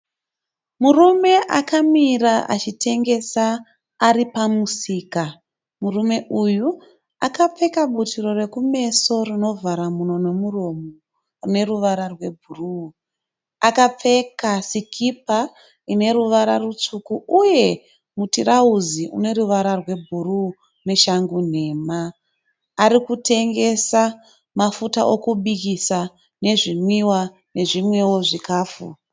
Murume akamira achitengesa ari pamusika. Murume uyu akapfeka butiro rekumeso rinovhara mhino nemuromo rune ruvara rebhuruu. Akapfeka sikipa ineruvara rutsvuku uye mutirauzi une ruvara rwebhuruu neshangu nhema. Arikutengesa mafuta okubikisa, zvinwiwa nezvimwewo zvikafu.